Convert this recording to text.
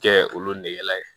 Kɛ olu nɛgɛ